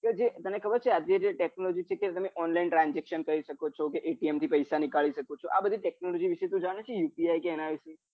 તો જે આજ ની જે technology છે જેમાં તમે online transaction કરી શકો ચો કરી શકો છો કે એટિએમ થી પૈસા નીકાળી શકો ચો આ બધી technology વિશે તું જાણે છે યુપીઆઈ કે એના વિશે